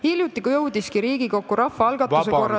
Hiljuti, kui Riigikokku jõudis rahvaalgatuse korras ...